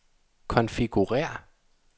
konfigurér